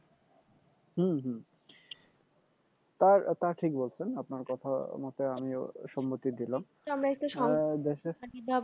হম তা তা ঠিক বলছেন আপনার কথা মতে আমিও সম্মতি দিলাম